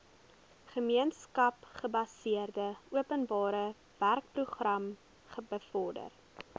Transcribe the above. gemeenskapsgebaseerde openbarewerkeprogram bevorder